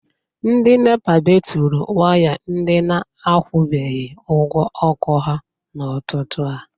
Ndị NEPA bepuru waya ndị na-akwụbeghi ụgwọ ọkụ ha n’ụtụtụ a.